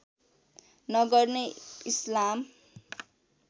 नगर्ने इस्लाम